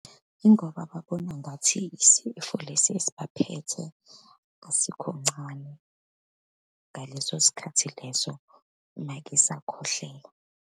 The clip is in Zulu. Yingoba babona ngathi isifo lesi esibaphethe asikho ncane ngaleso sikhathi leso uma-ke esakhwehlela.